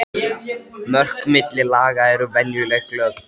Mörk milli laga eru venjulega glögg.